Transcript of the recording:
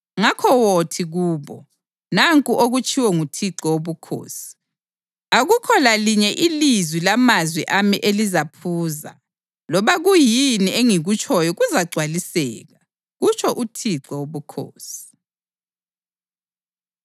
Ngakho wothi kubo, ‘Nanku okutshiwo nguThixo Wobukhosi: Akukho lalinye ilizwi lamazwi ami elizaphuza; loba kuyini engikutshoyo kuzagcwaliseka, kutsho uThixo Wobukhosi.’ ”